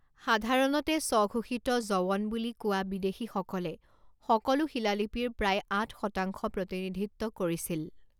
সাধাৰণতে স্বঘোষিত যৱন বুলি কোৱা বিদেশীসকলে সকলো শিলালিপিৰ প্ৰায় আঠ শতাংশ প্ৰতিনিধিত্ব কৰিছিল।